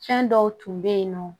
Fɛn dɔw tun bɛ yen nɔ